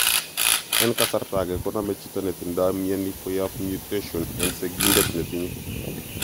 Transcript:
En kasarta age koname chito netindo mioni koyap mutation en sigindet netinye.